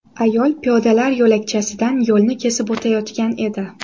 Ayol piyodalar yo‘lakchasidan yo‘lni kesib o‘tayotgan edi.